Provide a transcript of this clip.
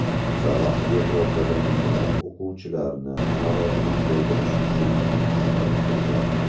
Qizaloq Yevropada minglab o‘quvchilarni norozilik bildirish uchun ilhomlantirgan.